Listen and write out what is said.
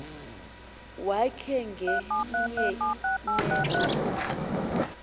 wakhe ngenya meko